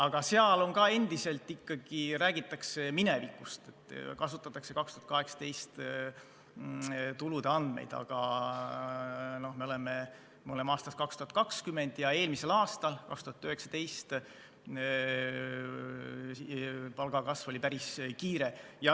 Aga ka seal endiselt ikkagi räägitakse minevikust, kasutatakse 2018. aasta tulude andmeid, aga me oleme aastas 2020 ja eelmisel aastal, 2019, palgakasv oli päris kiire.